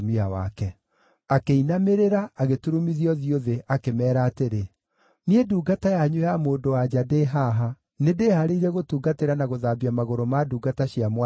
Akĩinamĩrĩra, agĩturumithia ũthiũ thĩ, akĩmeera atĩrĩ, “Niĩ ndungata yanyu ya mũndũ-wa-nja ndĩ haha, nĩndĩhaarĩirie gũtungatĩra na gũthambia magũrũ ma ndungata cia mwathi wakwa.”